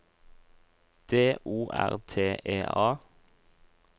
D O R T E A